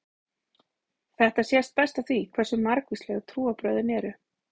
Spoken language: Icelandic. Þetta sést best á því hversu margvísleg trúarbrögðin eru.